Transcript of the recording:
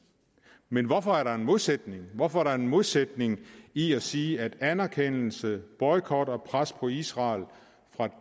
men hvorfor er der en modsætning hvorfor er der en modsætning i at sige at anerkendelse boykot og pres på israel fra